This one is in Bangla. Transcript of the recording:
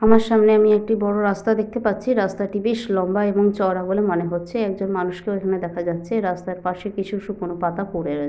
আমার সামনে আমি একটি বড় রাস্তা দেখতে পাচ্ছি। রাস্তাটি বেশ লম্বা এবং চওড়া বলে মনে হচ্ছে। একজন মানুষকেও এখানে দেখা যাচ্ছে। রাস্তার পাশে কিছু শুকনো পাতা পড়ে রয়েছে।